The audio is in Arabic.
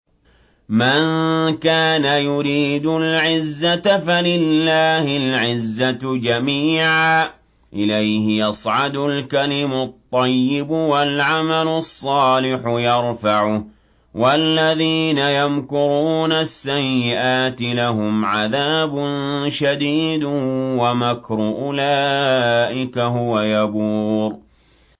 مَن كَانَ يُرِيدُ الْعِزَّةَ فَلِلَّهِ الْعِزَّةُ جَمِيعًا ۚ إِلَيْهِ يَصْعَدُ الْكَلِمُ الطَّيِّبُ وَالْعَمَلُ الصَّالِحُ يَرْفَعُهُ ۚ وَالَّذِينَ يَمْكُرُونَ السَّيِّئَاتِ لَهُمْ عَذَابٌ شَدِيدٌ ۖ وَمَكْرُ أُولَٰئِكَ هُوَ يَبُورُ